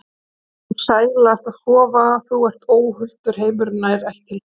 Það er stundum sælast að sofa, þú ert óhultur, heimurinn nær ekki til þín.